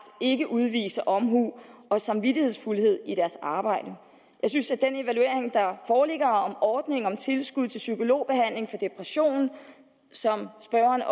ikke udviser omhu og samvittighedsfuldhed i deres arbejde jeg synes at den evaluering der foreligger om ordningen om tilskud til psykologbehandling for depression som spørgeren